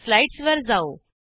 स्लाईडसवर जाऊ